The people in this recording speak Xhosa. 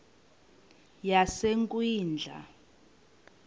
yasekwindla